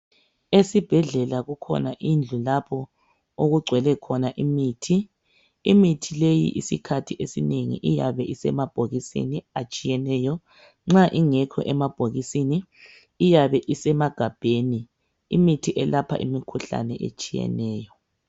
Esibhedlela kukhona indlu lapho okugcwele khona imithi. Imithi leyi isikhathi esinengi iyabe isemabhokisini atshiyeneyo nxa ingekho emabhokisini iyabe isemagabheni. Imithi eyelapha imikhuhlane etshiyeneyo.